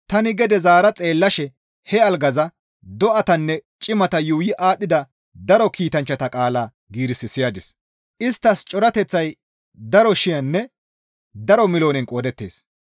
Tani gede zaara xeellashe he algaza, do7atanne cimata yuuyi aadhdhida daro kiitanchchata qaala giiris siyadis; isttas corateththay daro shiyaninne daro miloonen qoodettees.